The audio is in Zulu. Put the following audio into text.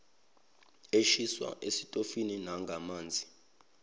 eshiswa esitofini nangamanzi